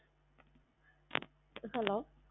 Hello